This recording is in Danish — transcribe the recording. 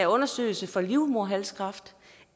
undersøgelse for livmoderhalskræft